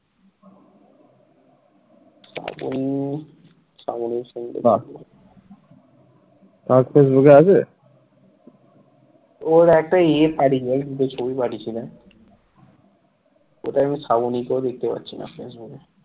কোথাও আমি শ্রাবণীকে দেখতে পাচ্ছি না facebook